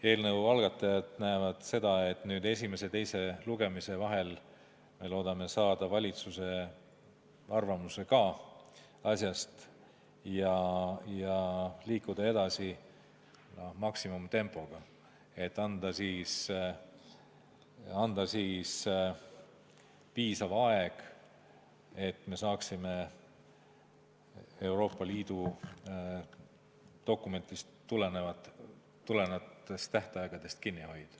Eelnõu algatajad näevad seda, et nüüd esimese ja teise lugemise vahel me loodame saada ka valitsuse arvamuse ja liikuda edasi maksimumtempoga, et saaksime Euroopa Liidu dokumentidest tulenevatest tähtaegadest kinni hoida.